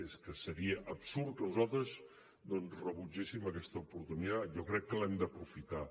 és que seria absurd que nosaltres rebutgéssim aquesta oportunitat jo crec que l’hem d’aprofitar